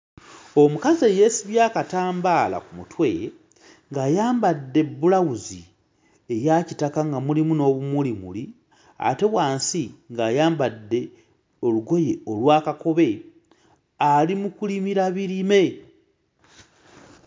Omukazi eyeesibye akatambaala ku mutwe ng'ayambadde bbulawuzi eya kitaka nga mulimu n'obumulimuli ate wansi ng'ayambadde olugoye olwa kakobe ali mu kulimira birime.